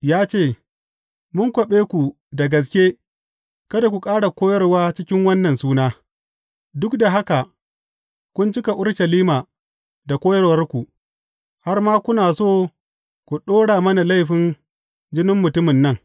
Ya ce, Mun kwaɓe ku da gaske kada ku ƙara koyarwa cikin wannan suna, duk da haka kun cika Urushalima da koyarwarku, har ma kuna so ku ɗora mana laifin jinin mutumin nan.